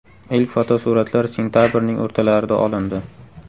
Ilk fotosuratlar sentabrning o‘rtalarida olindi.